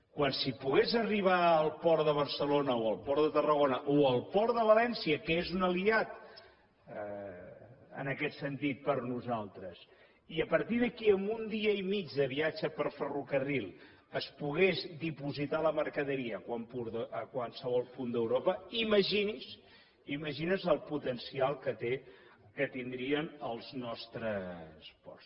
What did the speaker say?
quan si pogués arribar al port de barcelona o al port de tarragona o al port de valència que és un aliat en aquest sentit per a nosaltres i a partir d’aquí amb un dia i mig de viatge per ferrocarril es pogués dipositar la mercaderia a qualsevol punt d’europa imagini’s el potencial que tindrien els nostres ports